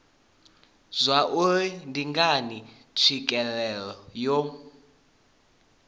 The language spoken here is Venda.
zwauri ndi ngani tswikelelo yo